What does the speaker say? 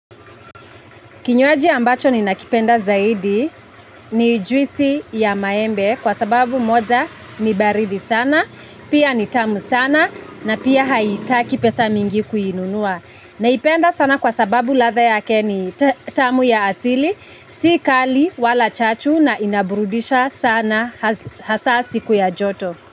Kinywaji ambacho ninakipenda zaidi ni juisi ya maembe kwa sababu moja ni baridi sana, pia ni tamu sana na pia haitaki pesa mingi kuinunua. Naipenda sana kwa sababu latha yake ni tamu ya asili si kali wala chachu na inaburudisha sana hasa siku ya joto.